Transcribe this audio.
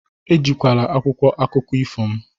Ewela akwụkwọ akụkọ ifo m!